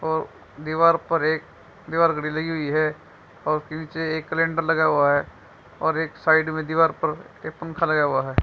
और दीवार पर एक दीवार घड़ी लगी हुई है और उसके नीचे एक कैलेंडर लगा हुआ है और एक साइड में दीवार पर एक पंखा लगा हुआ है।